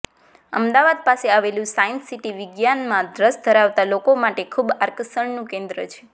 અમદાવાદ પાસે આવેલું science city વિજ્ઞાનમાં રસ ધરાવતા લોકો માટે ખૂબ આકર્ષણનુ કેન્દ્ર છે